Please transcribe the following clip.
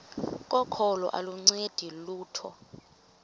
kokholo aluncedi lutho